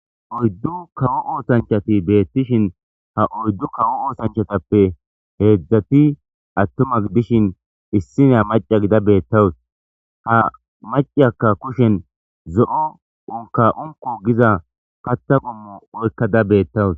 Ha oyddu kawo oosanchchati de"osona ha oyddatppe hezdzdu adetinne issi macay dees maciyakka ba kushshen zo"o unkaka unkko oykadus